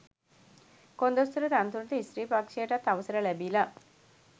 කොන්දොස්තර තනතුරට ස්ත්‍රී පක්ෂයටත් අවසර ලැබිල.